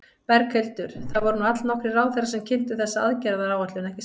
Berghildur, það voru nú allnokkrir ráðherrar sem kynntu þessa aðgerðaráætlun, ekki satt?